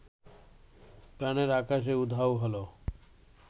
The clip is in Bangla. প্রাণের আকাশে উধাও হলো